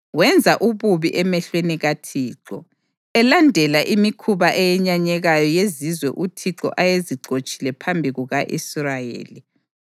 Wenza ububi emehlweni kaThixo, elandela imikhuba eyenyanyekayo yezizwe uThixo ayezixotshile phambi kuka-Israyeli.